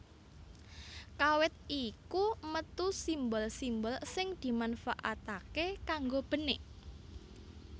Kawit iku metu simbol simbol sing dimanfaatake kanggo benik